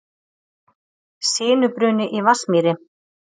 Sinubruni í Vatnsmýri